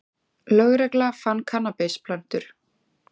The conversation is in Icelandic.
Lögregla fann kannabisplöntur